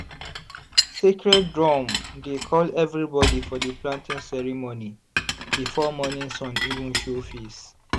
sacred drum dey call everybody for di planting ceremony before morning sun even show face.